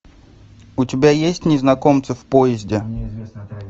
у тебя есть незнакомцы в поезде